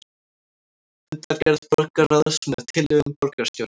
Fundargerð borgarráðs með tillögum borgarstjóra